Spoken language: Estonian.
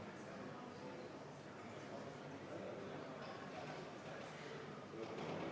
Palun seda muudatusettepanekut hääletada!